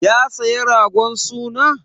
Ya saya ragon suna?